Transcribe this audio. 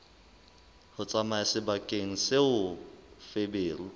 ho tsamaya sebakeng seo feberu